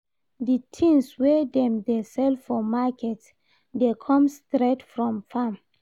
Di tins wey dem dey sell for market dey come straight from farm.